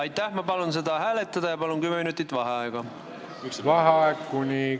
Martin Helme, palun!